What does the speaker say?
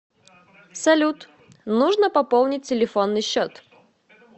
салют нужно пополнить телефонный счет